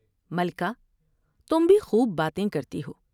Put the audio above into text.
ملکہ تم بھی خوب باتیں کرتی ہو ۔